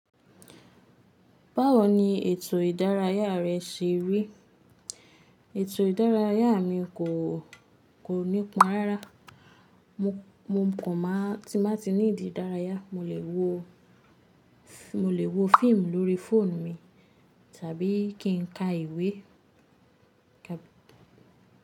Báwo ni ètò ìdárayá rẹ ṣe rí? Ètò ìdárayá mi kò, kò nípọn rárá. Mo kàn má tí n ba ti ní need dárayá, mo lè wo, mo lè wo fíìmù lórí fóònù mi, tàbí kí n ka ìwé.